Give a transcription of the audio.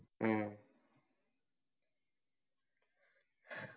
ഉം